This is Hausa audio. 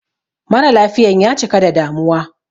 Mara lafiyan ya cika da damuwa